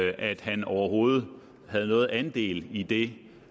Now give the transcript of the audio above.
at han overhovedet havde nogen andel i det